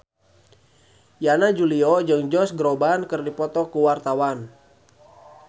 Yana Julio jeung Josh Groban keur dipoto ku wartawan